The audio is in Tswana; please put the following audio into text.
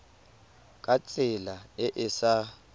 ka tsela e e sa